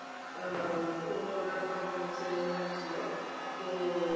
আহ পুরোনোরা company ছেড়ে যাচ্ছিল তো,